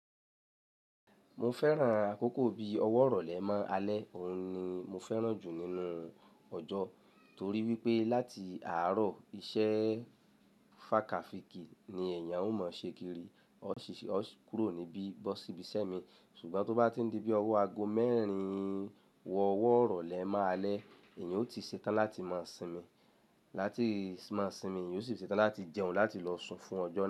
Mo fẹ́ran àkókò bí ọwọ́ rọ̀lẹ́ máa alẹ́, òun ni mo fẹ́ran jù nínú ọjọ́ torí wípé láti àárọ̀ iṣẹ́ fàákàfikì ni èèyàn ó mọ ṣe kiri, ó kúrò níbí bọ́ síbi iṣẹ́ mi, ṣùgbọ́n tó bá ti di bí ọwọ́ ago mẹ́rin wọ ọwọ́ rọ̀lẹ́ máa alẹ́, èèyàn ó ti ṣe tán láti máa sinmi, láti máa sinmi, eeyan ó sì ṣe tán láti jẹun láti lọ sùn fún ọjọ́ náà.